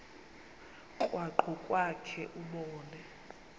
krwaqu kwakhe ubone